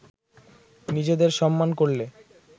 নিজেদের সম্মান করলে